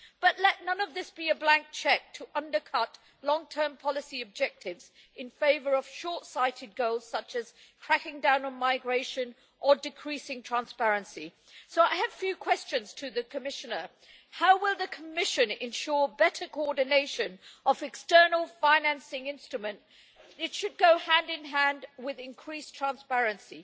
But let none of this be a blank cheque to undercut long-term policy objectives in favour of short-sighted goals, such as cracking down on migration or decreasing transparency. I have a few questions to the Commissioner. How will the Commission ensure better coordination of the external financing instrument? It should go hand in hand with increased transparency.